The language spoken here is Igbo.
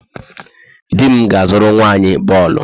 Di m ga-azụrụ nwa anyị bọọlụ.